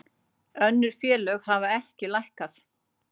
Önnur félög hafa ekki lækkað